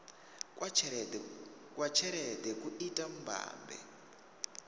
kwa tshelede ku ita mbambe